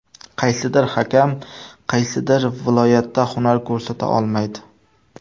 Qaysidir hakam qaysidir viloyatda hunar ko‘rsata olmaydi.